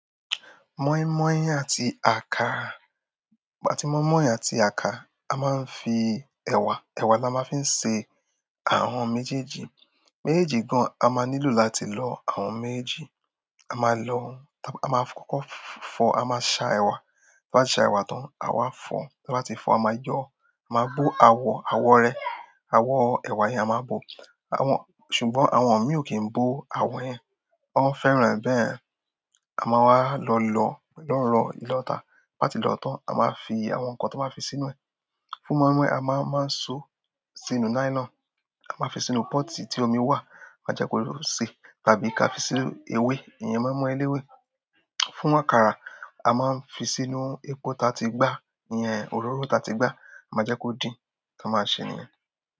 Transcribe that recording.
Mọ́ímọ́í àti àkàrà, àti mọ́ímọ́í àti àkàrà, a máa ń fi ẹ̀wà, ẹ̀wà là máa ń fi ń ṣe àwọn méjèèjì. Méjèèjì gan, a máa nílò láti lọ àwọn méjèèjì. A máa lọ, a máa kókó fọ, a máa sa ẹ̀wà. Ta ba ti sa ewa tan, a wa fo ta ba ti fo a maa yo, a maa bo awo awo re awo ewa yen, a maa bo àwọn-- ṣùgbọ́n àwọn mi o kín bo awọ yẹn, wọ́n fẹ́ràn e bẹ́ẹ̀. A máa wá lọ lọ lọ́ro ilọ́ta. Bá ti lọ tán, a máa wa fi àwọn nǹkan tó máa fi sínú ẹ. Fún mọ́ímọ́í, a máa máa so sínú nylon, a máa fi sínú pọ́ọ̀tì tí omi wà, máa jẹ́ kó ṣe. Tàbí ká fi sí ewé, iyen moinmoin eléwé. Fún àkàrà, a máa ń fi sínú epo ta ti gbá, iyan òróró ta ti gbá, máa jẹ́ kó din, táa máa ṣe nìyẹn.